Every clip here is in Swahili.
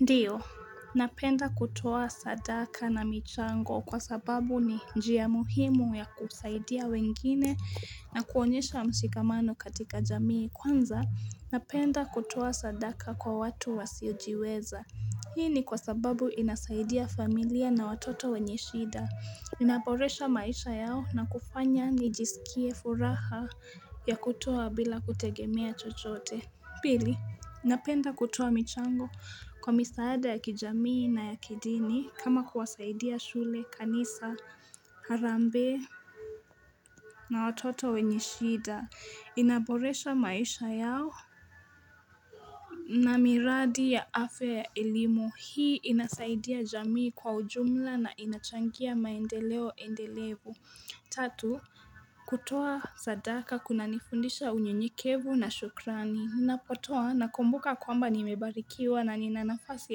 Ndiyo, napenda kutoa sadaka na michango kwa sababu ni njia muhimu ya kusaidia wengine na kuonyesha mshikamano katika jamii. Kwanza, napenda kutoa sadaka kwa watu wasiojiweza. Hii ni kwa sababu inasaidia familia na watoto wenye shida. Inaboresha maisha yao na kufanya nijisikie furaha ya kutoa bila kutegemea chochote. Pili, napenda kutoa michango kwa misaada ya kijamii na ya kidini kama kuwasaidia shule, kanisa, harambee na watoto wenye shida. Inaboresha maisha yao. Na miradi ya afe ya elimu, hii inasaidia jamii kwa ujumla na inachangia maendeleo endelevu. Tatu, kutoa sadaka kunanifundisha unyenyekevu na shukrani. Napotoa, nakumbuka kwamba nimebarikiwa na nina nafasi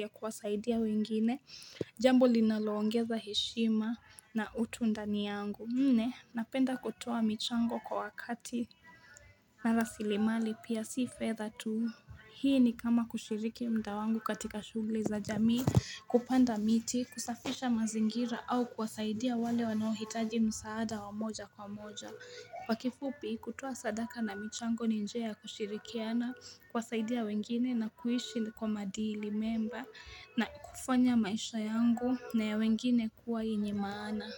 ya kuwasaidia wengine, jambo linaloongeza heshima na utu ndani yangu. Nne, napenda kutoa michango kwa wakati. Na rasilimali pia si fedha tu. Hii ni kama kushiriki muda wangu katika shughuli za jamii kupanda miti kusafisha mazingira au kuwasaidia wale wanaohitaji msaada wa moja kwa moja Kwa kifupi kutoa sadaka na michango ni njia ya kushirikiana kuwasaidia wengine na kuishi kwa madili mema na kufanya maisha yangu na ya wengine kuwa yenye maana.